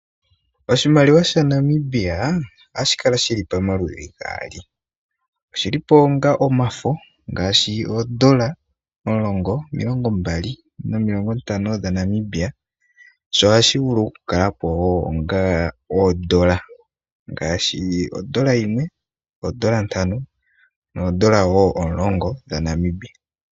Oshimaliwa shNamibia ohashi kala shili pomaludhi gaali, oshilipo onga omafo, ngaashi oongaashi oodola omulongo, omilongo mbali nomilongo ntano dhaNamibia. Sho oha shi vuu okukakalapo onga odola, ngaashi odola yimwe, oodola ntano, noodola woo omulongo.